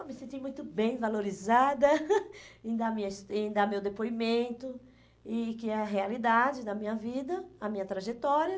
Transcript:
Eu me senti muito bem, valorizada em dar minha, em dar meu depoimento e que é a realidade da minha vida, a minha trajetória.